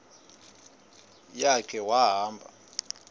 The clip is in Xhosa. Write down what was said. ya khe wahamba